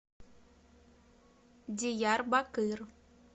диярбакыр